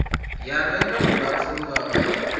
ya lwendo lulapfu lu vhavhaho